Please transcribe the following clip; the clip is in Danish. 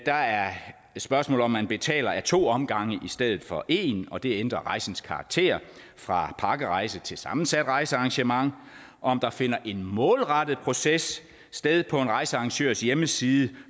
der er spørgsmålet om at man betaler ad to omgange i stedet for en og det ændrer rejsens karakter fra pakkerejse til sammensat rejsearrangement om der finder en målrettet proces sted på en rejsearrangørs hjemmeside